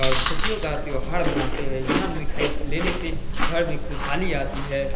और खुशियों का त्योहार मनाते है यहाँ मिठाई लेने से घर में खुशहाली आती है।